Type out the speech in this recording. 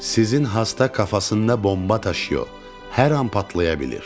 Sizin hasta kafasında bomba taşıyor, hər an patlaya bilir.